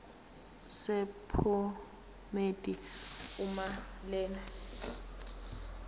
sephomedi uma lena